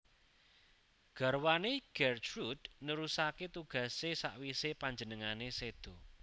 Garwané Gertrude nerusaké tugasé sawisé panjenengané séda